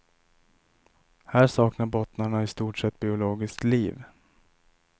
Här saknar bottnarna i stort sett biologiskt liv.